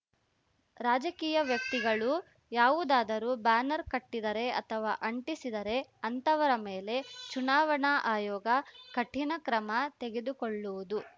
ರಾಜಕೀಯ ವ್ಯಕ್ತಿಗಳು ಯಾವುದಾದರು ಬ್ಯಾನರ್ ಕಟ್ಟಿದರೆ ಅಥವಾ ಅಂಟಿಸಿದರೆ ಅಂತವರ ಮೇಲೆ ಚುನಾವಣಾ ಆಯೋಗ ಕಠೀಣ ಕ್ರಮ ತೆಗೆದುಕೊಳ್ಳುವುದು